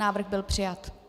Návrh byl přijat.